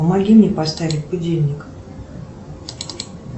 помоги мне поставить будильник